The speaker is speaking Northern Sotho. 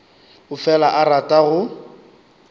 o fela a rata go